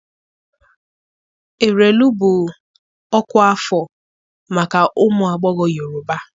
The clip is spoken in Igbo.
Erelu bụ ọkwa afọ maka ụmụ agbọghọ Yorùbá.